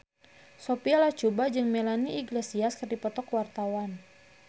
Sophia Latjuba jeung Melanie Iglesias keur dipoto ku wartawan